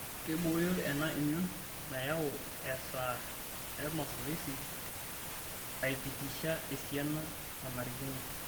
Keibooyo ena emion nayau easa emasoesi aipitisha esiana nanarikino.